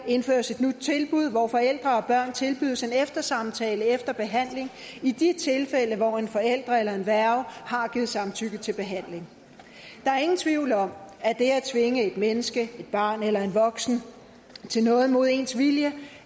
indføres et nyt tilbud hvor forældre og børn tilbydes en eftersamtale efter behandling i de tilfælde hvor en forælder eller en værge har givet samtykke til behandling der er ingen tvivl om at det at tvinge et menneske et barn eller voksen til noget mod dets vilje